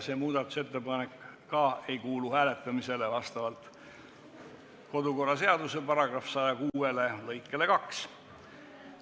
See ettepanek vastavalt kodu- ja töökorra seaduse § 106 lõikele 2 hääletamisele ei kuulu.